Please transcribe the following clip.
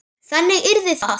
Þannig yrði það.